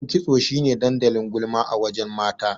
Wajen kitso shine dandalin gulma a wajen mata.